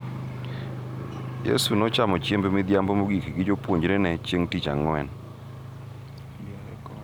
Yesu nochamo chiemb midhiambo mogik gi jopuonjrene chieng’ tich ang’wen,